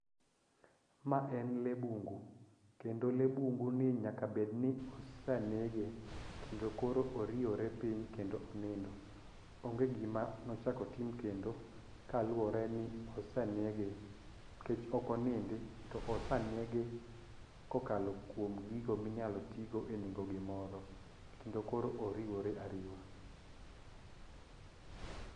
Ma en lee bungu kendo lee bungu ni nyaka bed ni osanege kendo koro oriewore piny kendo onindo. Onge gima nochak otim kendo kaluwore ni osanege nikech ok onindi to osanege kokalo kuom gigo minyalo tigo e nego gimoro kendo koro oriwore ariwa.